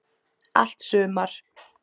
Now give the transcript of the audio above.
Allt sumar